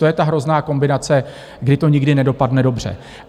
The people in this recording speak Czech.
To je ta hrozná kombinace, kdy to nikdy nedopadne dobře.